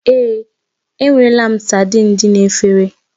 Èé, enwerela m saidin dị n'efere